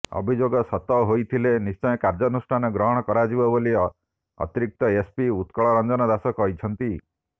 ଅଭିଯୋଗ ସତ ହୋଇଥିଲେ ନିଶ୍ଚୟ କାର୍ଯ୍ୟାନୁଷ୍ଠାନ ଗ୍ରହଣ କରାଯିବ ବୋଲି ଅତିରିକ୍ତ ଏସପି ଉତ୍କଳ ରଂଜନ ଦାସ କହିଛନ୍ତି